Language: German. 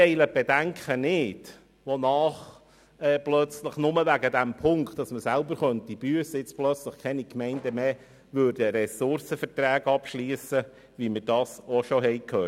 Wir teilen die Bedenken nicht, wonach plötzlich keine Gemeinden mehr Ressourcenverträge abschliessen würden, nur weil man selber büssen könnte, wie wir schon gehört haben.